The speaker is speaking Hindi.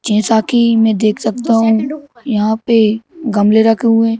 जैसा कि मैं देख सकता हूँ यहाँ पे गमले रखे हुए हैं।